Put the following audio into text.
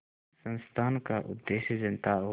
इस संस्थान का उद्देश्य जनता और